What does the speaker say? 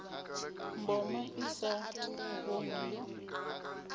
mboma i sa vhoni yo